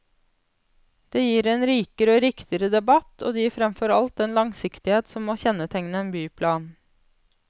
Det gir en rikere og riktigere debatt, og det gir fremfor alt den langsiktighet som må kjennetegne en byplan.